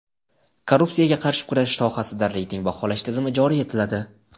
Korrupsiyaga qarshi kurashish sohasida reyting baholash tizimi joriy etiladi.